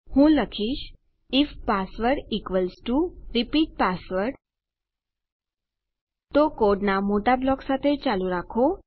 હું લખીશ if password equals equals to repeat password તો કોડનાં મોટા બ્લોક સાથે ચાલુ રાખો